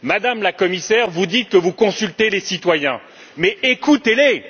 Madame la Commissaire, vous dites que vous consultez les citoyens, mais écoutez les!